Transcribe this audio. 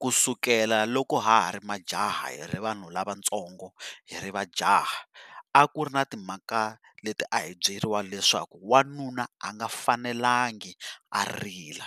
Ku sukela loko ha ha ri majaha hi ri vanhu lavatsongo, hi ri majaha a ku ri na timhaka leti a hi byeriwa leswaku wanuna a nga fanelanga a rila